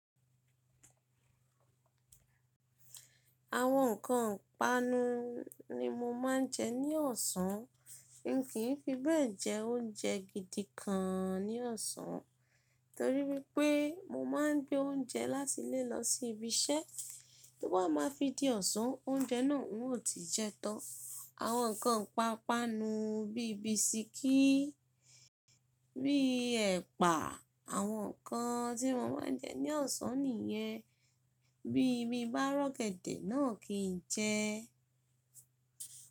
Àwọn nǹkan ìpanu ni mo máa ń jẹ ní ọ̀sán. N kii fi bẹ́ẹ̀ jẹ oúnjẹ gidi kan ní ọ̀sán torí pé mo máa ń gbé oúnjẹ láti ilé lọ sí ibi iṣẹ́. To ba máa fi di ọ̀sán, oúnjẹ náà hun ò ti jẹ tán. Àwọn nǹkan ìpapanu bí i bisikíì, bí i ẹ̀pà àwọn nǹkan tí mo máa ń jẹ ní ọ̀sán nìyẹn. Bí i mí bá rọ̀gẹ́dẹ̀ náà kì n jẹ́.